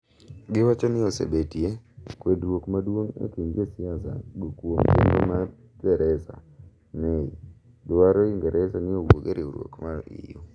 giwacho ni osebetie kwedruok maduong e kind josiasa go kuom chenro mar Theresa May madwaro ingeresa ni owuog e riwruok mar EU